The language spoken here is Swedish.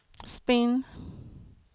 spinn